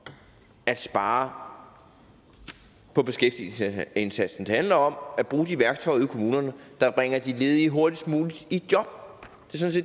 at spare på beskæftigelsesindsatsen det handler om at bruge de værktøjer ude i kommunerne der bringer de ledige hurtigst muligt i job